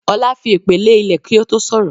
Ọlá fi èpè lè ilẹ̀ kí ó tó sọ̀rọ̀